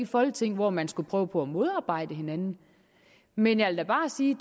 folketing hvor man skulle prøve på at modarbejde hinanden men jeg vil da bare sige